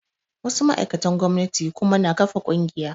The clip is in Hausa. Wasu ma'aikatan gomnati kuma na ƙafa ƙungiya